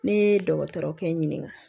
Ne ye dɔgɔtɔrɔkɛ ɲininka